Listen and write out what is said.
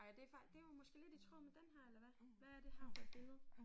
Ej og det det måske lidt i tråd med den her eller hvad hvad er det her for et billede?